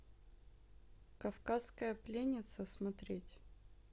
кавказская пленница смотреть